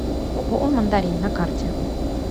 ооо мандарин на карте